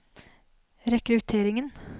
rekrutteringen